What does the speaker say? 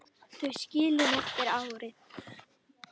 Þau skilin eftir árið.